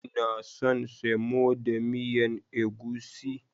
inason cin semo da miyan egusi.